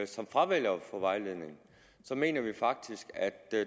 som fravælger at få vejledning så mener vi faktisk at